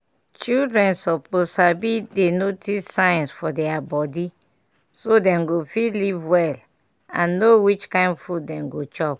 childrien suppose sabi dey notice sign for deir body so dem go fit live well and no which kin food dem go chop.